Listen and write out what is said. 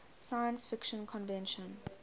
science fiction convention